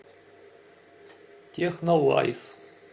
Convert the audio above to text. технолайз